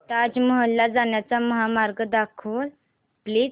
ताज महल ला जाण्याचा महामार्ग दाखव प्लीज